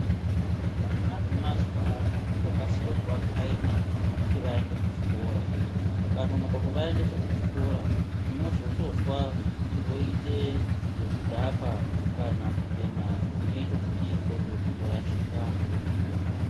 Vana vemazuwano kutokasire kuvakhaima kuti vaende kuchikora, mukanonoka kuvaendesa kuchikora munozotozwa voite zvekudhakwa kana kubhema zvinoito kuti ndxondo dzizorashika.